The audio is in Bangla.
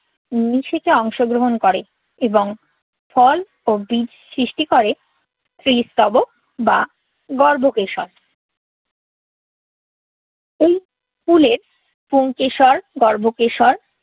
নিষেকে অংশগ্রহণ করে এবং ফল ও বীজ সৃষ্টি করে। স্ত্রীস্তবক বা গর্ভকেশর। ওই ফুলের পুংকেশর, গর্ভকেশর